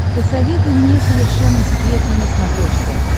посоветуй мне совершенно секретно на смотрешке